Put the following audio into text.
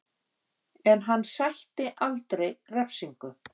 En hann sætti aldrei refsingu